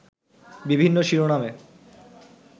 বিভিন্ন শিরোনামে